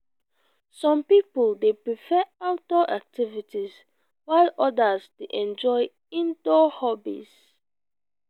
some people prefer outdoor activities while others dey enjoy indoor hobbies.